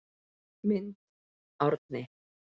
Mynd Árni